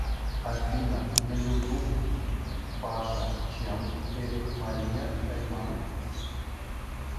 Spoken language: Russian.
афина на ютуб паша чемп эрих мария ремарк